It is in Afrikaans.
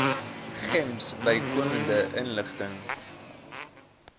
gems bykomende inligting